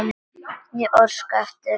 Ég óska eftir þér ennþá.